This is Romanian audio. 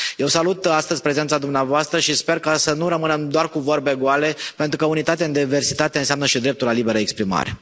Eu salut astăzi prezența dumneavoastră și sper să nu rămânem doar cu vorbe goale, pentru că unitate în diversitate înseamnă și dreptul la liberă exprimare.